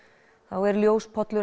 er